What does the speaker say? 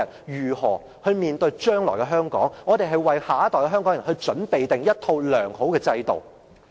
為了讓他們面對將來的香港，我們應該為下一代香港人妥善確立一套良好的制度。